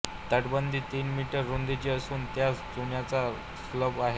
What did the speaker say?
तटबंदी तीन मीटर रुंदीची असून त्यास चुन्याचा स्लॅब आहे